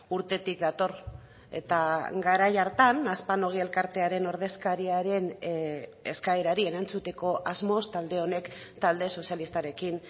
urtetik dator eta garai hartan aspanogi elkartearen ordezkariaren eskaerari erantzuteko asmoz talde honek talde sozialistarekin